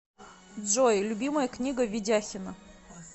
джой любимая книга ведяхина